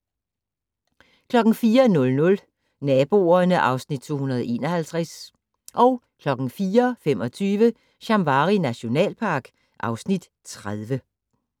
04:00: Naboerne (Afs. 251) 04:25: Shamwari nationalpark (Afs. 30)